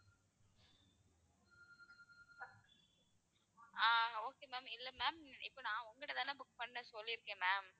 ஆஹ் okay ma'am இல்ல ma'am இப்போ நான் உங்ககிட்ட தானே book பண்றேன்னு சொல்லிருக்கேன் ma'am